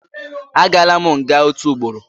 Agaala m nga otu ugboro